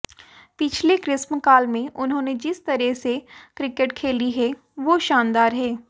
पिछले ग्रीष्मकाल में उन्होंने जिस तरह से क्रिकेट खेली है वो शानदार है